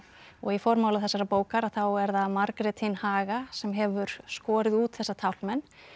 og í formála þessarar bókar þá er það Margrét hin haga sem hefur skorið út þessa taflmenn